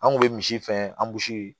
An kun bɛ misi fɛn an bosi ye